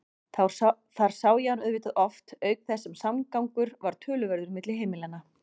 Þar sá ég hann auðvitað oft auk þess sem samgangur var töluverður milli heimilanna.